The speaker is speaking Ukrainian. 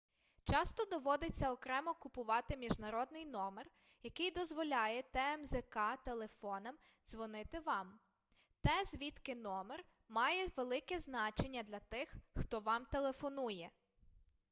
часто доводиться окремо купувати міжнародний номер який дозволяє тмзк-телефонам дзвонити вам те звідки номер має велике значення для тих хто вам телефонує